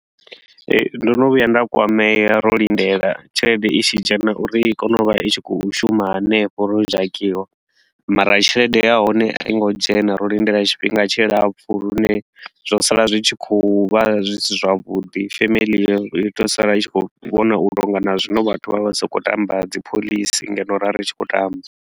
Ee, ndo no vhuya nda kwamea ro lindela tshelede i tshi dzhena uri i kone u vha i tshi khou shuma hanefho ro dzhakiwa, mara tshelede ya hone a i ngo dzhena, ro lindela tshifhinga tshilapfu lune zwo sala zwi tshi khou vha zwi si zwavhuḓi. Family yo yo tou sala i tshi khou vhona u tou nga na zwino vhathu vha vha sa khou tamba dzipholisi ngeno ro vha ri tshi khou tamba.